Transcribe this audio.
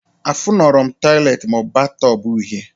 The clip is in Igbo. Afụnurọm tọiletị maọbụ batọb uhie